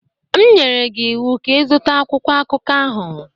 M nyere gị ịwụ ka ị zụta akwụkwọ akụkọ ahụ!